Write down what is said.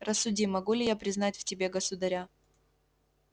рассуди могу ли я признать в тебе государя